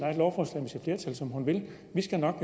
flertal som hun vil vi skal nok